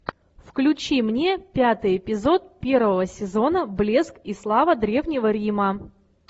включи мне пятый эпизод первого сезона блеск и слава древнего рима